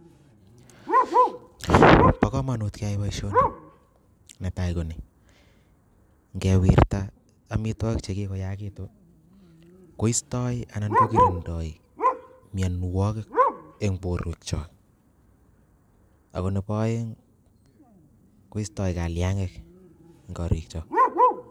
Bo kamanut keyai boisioni netai koni, Kewirta amitwigik chekikoyakitu koistoi anan kokirindoi miomwogik eng borweknyok ako nebo aeng koistoi kalyangik eng koriknyok.